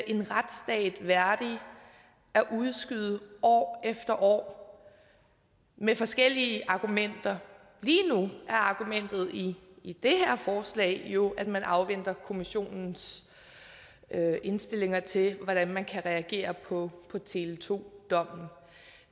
en retsstat værdig at udskyde år efter år med forskellige argumenter lige nu er argumentet i i det her forslag jo at man afventer kommissionens indstillinger til hvordan man kan reagere på tele2 dommen